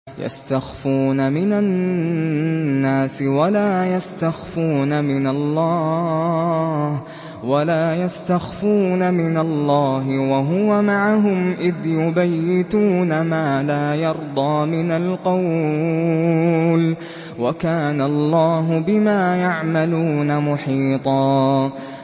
يَسْتَخْفُونَ مِنَ النَّاسِ وَلَا يَسْتَخْفُونَ مِنَ اللَّهِ وَهُوَ مَعَهُمْ إِذْ يُبَيِّتُونَ مَا لَا يَرْضَىٰ مِنَ الْقَوْلِ ۚ وَكَانَ اللَّهُ بِمَا يَعْمَلُونَ مُحِيطًا